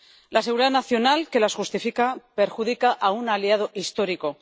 La seguridad nacional que las justifica perjudica a un aliado histórico.